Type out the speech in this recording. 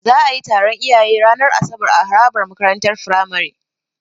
Za'a yi taron iyaye ranar asabar a harabar makarantar Firamare.